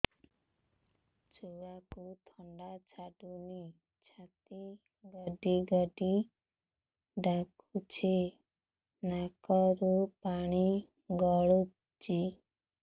ଛୁଆକୁ ଥଣ୍ଡା ଛାଡୁନି ଛାତି ଗଡ୍ ଗଡ୍ ଡାକୁଚି ନାକରୁ ପାଣି ଗଳୁଚି